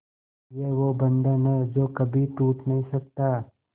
ये वो बंधन है जो कभी टूट नही सकता